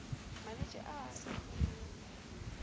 malwetši ao a sa folego